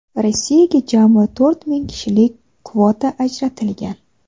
Rossiyaga jami to‘rt ming kishilik kvota ajratilgan.